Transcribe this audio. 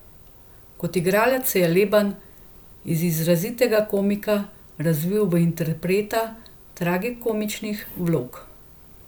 Kot igralec se je Leban iz izrazitega komika razvil v interpreta tragikomičnih vlog.